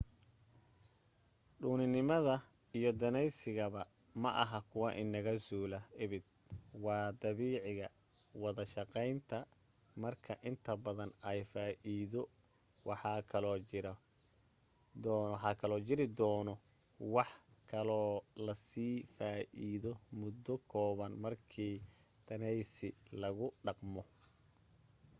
dhuuninimada iyo daneysigaba maaha kuwa inaga suulaya abid waa dabiiciga wada-shaqeynta marka inta badan ay faa'iido waxaa kaloo jiri doono wax kaloo lasii faa'iido muddo kooban markii daneysi lagu dhaqmo